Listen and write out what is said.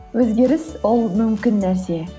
өзгеріс ол мүмкін нәрсе